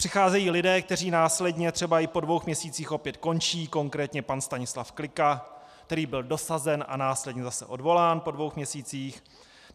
Přicházejí lidé, kteří následně, třeba i po dvou měsících, opět končí, konkrétně pan Stanislav Klika, který byl dosazen a následně zase odvolán po dvou měsících.